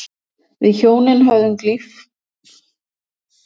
Við hjónin höfðum glímt við samskiptaörðugleika sem virtust tilfallandi framan af.